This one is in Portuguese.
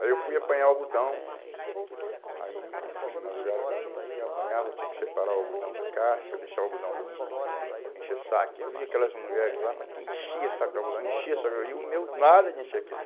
Aí eu fui apanhar o algodão, aí eu fui de madrugada com eles e apanhava, tinha que separar o algodão da casca, deixar o algodão limpo, encher o saco, e eu via aquelas mulheres lá, mas que enchia o saco do algodão, enchia o saco de algodão, e o meu nada de encher aquilo.